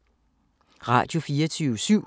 Radio24syv